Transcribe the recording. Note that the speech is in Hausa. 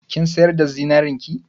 Kin sayar da zinarin ki?